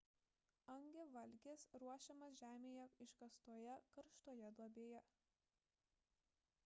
hangi valgis ruošiamas žemėje iškastoje karštoje duobėje